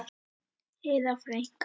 Heiða frænka!